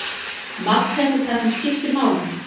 Magn þess er það sem skiptir máli.